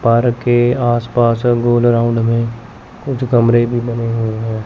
Park के आस पास गोल राउंड में कुछ कमरे भी बने हुए हैं।